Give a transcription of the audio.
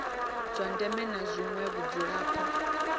zwa ndeme na zwine vhadzulapo